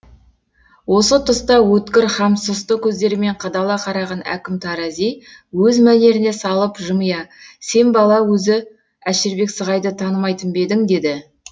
осы тұста өткір һәм сұсты көздерімен қадала қараған әкім тарази өз мәнеріне салып жымия сен бала өзі әшірбек сығайды танымайтын ба едің деді